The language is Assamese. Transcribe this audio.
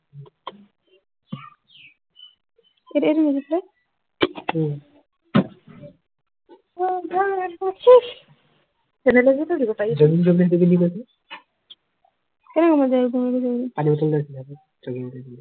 এতিয়া এইটো উম অহ বাৰ নাচি চেণ্ডেল এযোৰ টো দিব পাৰি